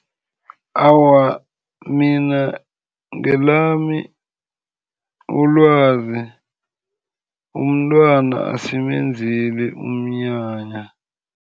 Awa, mina ngelami ilwazi, umntwana asimenzeli umnyanya.